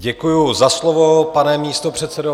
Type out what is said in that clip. Děkuji za slovo, pane místopředsedo.